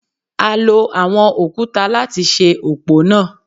A lo àwọn òkúta láti ṣe òpó náà.